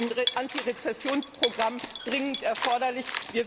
Da ist ein Antirezessionsprogramm dringend erforderlich.